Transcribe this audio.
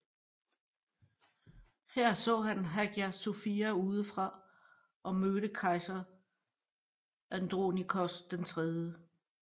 Her så han Hagia Sophia udefra og mødte kejser Andronikos 3